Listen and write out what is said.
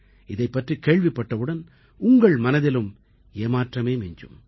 இதைப் பற்றிக் கேள்விப்பட்டவுடன் உங்கள் மனதிலும் ஏமாற்றமே மிஞ்சும்